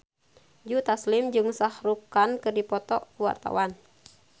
Joe Taslim jeung Shah Rukh Khan keur dipoto ku wartawan